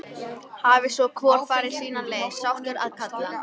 Hafi svo hvor farið sína leið, sáttur að kalla.